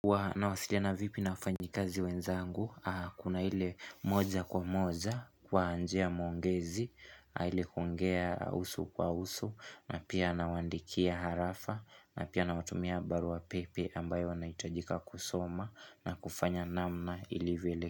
Nawasiliana vipi na wafanyikazi wenzangu? Kuna ile moja kwa moja kwa njia mwongezi, ile kuongea uso kwa uso, na pia nawaandikia arafa, na pia nawatumia barua pepe ambayo wanahitajika kusoma na kufanya namna ilivyo.